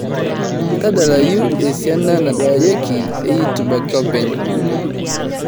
tadalayu esiana nadalareki e youtube ake openy